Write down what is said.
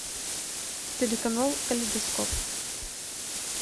телеканал калейдоскоп